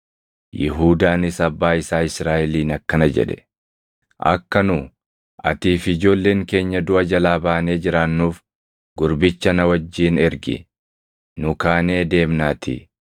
Yihuudaanis abbaa isaa Israaʼeliin akkana jedhe; “Akka nu, atii fi ijoolleen keenya duʼa jalaa baanee jiraannuuf gurbicha na wajjin ergi; nu kaanee deemnaatii.